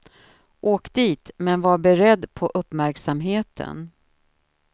Åk dit, men var beredd på uppmärksamheten.